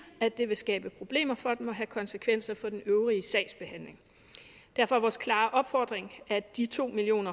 at det vil skabe problemer for dem og have konsekvenser for den øvrige sagsbehandling derfor er vores klare opfordring at de to million